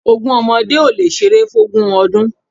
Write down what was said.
Ogún ọmọdé ò lè ṣeré fún ogún ọdún